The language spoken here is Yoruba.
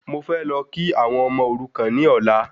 Mo fẹ́ lọ kí àwọn ọmọ òrukan ní ọ̀la